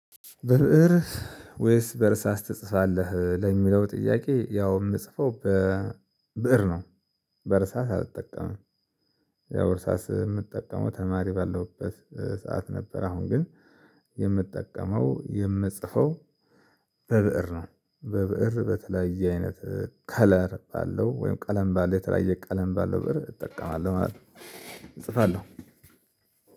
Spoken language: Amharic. ብእር ወይስ በእርሳስ ትጽፋለህ? ለሚለው ጥያቄ ያው የምጽፈው በብእር ነው በእርሳስ አልጠቀምም። ያው በእርሳስ የምጠቀመው ተማሪ ባለሁበት ሰዓት ነበር። አሁን ግን የምጠቀመው የምጽፈው በብእር ነው። በብእር በተለያየ አይነት ከለር ባለው ወይም ቀለም ባለው የተለያየ ቀለም ባለው ብእር እጠቀማለሁ ማለት ነው። እጽፋለሁ